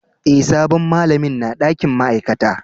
Eh, sabon malamin na dakin ma'aikata.